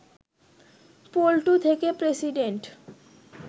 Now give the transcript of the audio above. পল্টু থেকে প্রেসিডেন্ট